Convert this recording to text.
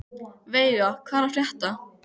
Veiga, hvað er að frétta?